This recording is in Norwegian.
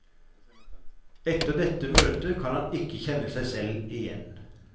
Etter dette møtet kan han ikke kjenne seg selv igjen.